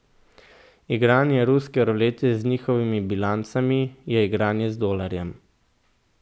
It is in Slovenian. Igranje ruske rulete z njihovimi bilancami je igranje z dolarjem.